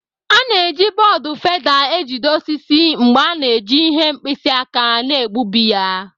A na-eji bọọdụ feda ejide osisi mgbe a na-eji ihe mkpisi aka na-egbubi ya.